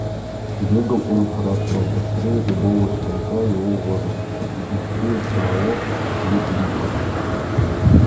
бегал он хорошо быстрее любого щенка его возраста и быстрее самого лип липа